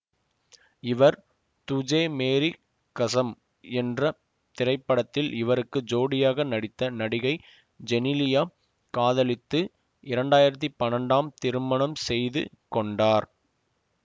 இவர் துஜே மேரி கஸம் என்ற திரைபடத்தில் இவருக்கு ஜோடியாக நடித்த நடிகை ஜெனிலியா காதலித்து இரண்டாயிரத்தி பன்னெண்டாம் திருமணம் செய்து கொண்டார்